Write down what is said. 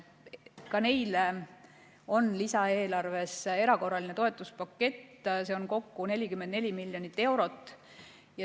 Ka neile on lisaeelarves erakorraline toetuspakett, see on kokku 44 miljonit eurot.